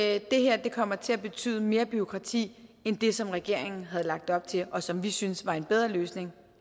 at det her kommer til at betyde mere bureaukrati end det som regeringen havde lagt op til og som vi syntes var en bedre løsning